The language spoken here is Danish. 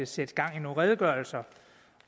sætte gang i nogle redegørelser